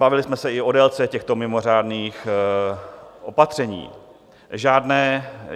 Bavili jsme se i o délce těchto mimořádných opatření.